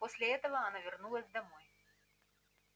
после этого она вернулась домой